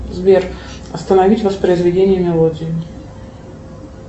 сбер остановить воспроизведение мелодии